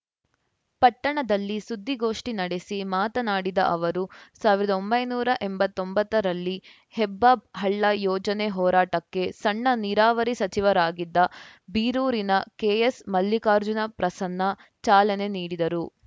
ಪಟ್ಟಣದಲ್ಲಿ ಸುದ್ದಿಗೋಷ್ಠಿ ನಡೆಸಿ ಮಾತನಾಡಿದ ಅವರು ಸಾವಿರದ ಒಂಬೈನೂರ ಎಂಬತ್ತೊಂಬತ್ತರಲ್ಲಿ ಹೆಬ್ಬ ಹಳ್ಳ ಯೋಜನೆ ಹೋರಾಟಕ್ಕೆ ಸಣ್ಣ ನೀರಾವರಿ ಸಚಿವರಾಗಿದ್ದ ಬೀರೂರಿನ ಕೆಎಸ್‌ ಮಲ್ಲಿಕಾರ್ಜುನ ಪ್ರಸನ್ನ ಚಾಲನೆ ನೀಡಿದರು